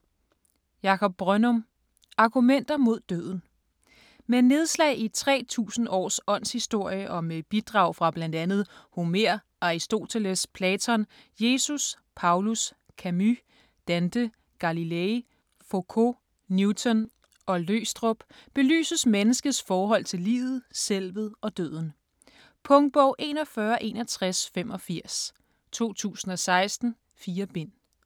Brønnum, Jakob: Argumenter mod døden Med nedslag i 3000 års åndshistorie, og med bidrag fra bl.a. Homer, Aristoteles, Platon, Jesus, Paulus, Camus, Dante, Galilei, Focault, Newton og Løgstrup, belyses menneskets forhold til livet, selvet og døden. Punktbog 416185 2016. 4 bind.